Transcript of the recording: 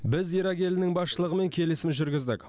біз ирак елінің басшылығымен келісім жүргіздік